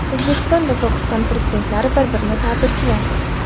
O‘zbekiston va Pokiston Prezidentlari bir-birini tabrikladi.